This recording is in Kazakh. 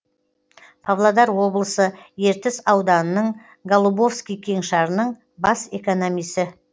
павлодар облысы ертіс ауданының голубовский кеңшарының бас экономисі